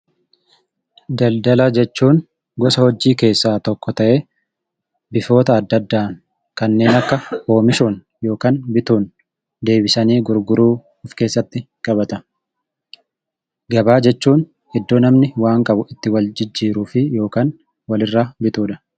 Daldala jechuun gosa hojii keessaa tokko ta'ee, bifoota adda addaan kanneen akka oomishuun yookaan bituun deebisanii gurguruu of keessatti qabata. Gabaa jechuun iddoo namni waan qabu itti wal jijjiiruu fi yookaan walirraa bitudha.